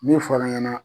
Min fɔr'an ɲɛna